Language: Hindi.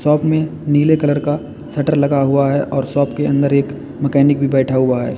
शॉप में नीले कलर का शटर लगा हुआ है और शॉप के अंदर एक मैकेनिक भी बैठा हुआ है।